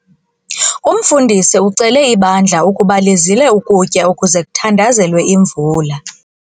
Umfundisi ucele ibandla ukuba lizile ukutya ukuze kuthandazelwe imvula.